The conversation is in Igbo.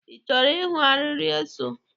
Ị chọrọ ịhụ arịrị eso?